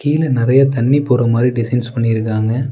கீழ நெறைய தண்ணி போற மாரி டிசைன்ஸ் பண்ணியிருக்காங்க.